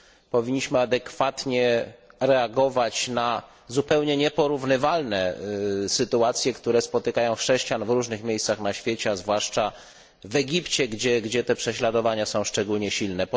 Powinniśmy adekwatnie reagować na zupełnie nieporównywalne sytuacje, które spotykają chrześcijan w różnych miejscach na świecie, a zwłaszcza w Egipcie, gdzie te prześladowania są szczególnie silne.